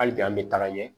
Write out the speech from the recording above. Hali bi an bɛ taga ɲɛ